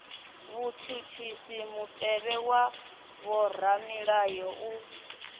vhutshutshisi mutevhe wa vhoramilayo u